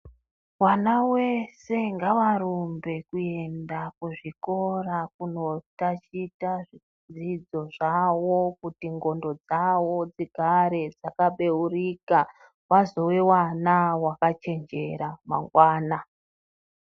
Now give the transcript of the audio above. Wana wese ngavarumbe kuenda kuzvikora kunotaticha zvidzidzo zvavo kuti ndwondo dzavo dzigare dzakabeuka wazowe wana vakachenjera mangwana.